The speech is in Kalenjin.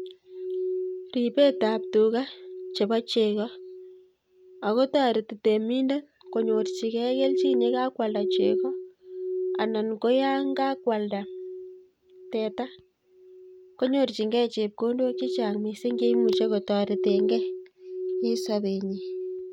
Ribetab tugaa chebo chegoo, ako toretii temindet konyorchigei kelchin yekakwaldaa chegoo annan koyonkakwaldaa teta konyorchingei chepkondok chechang missing cheimuche kotoreten gee en sobenyiin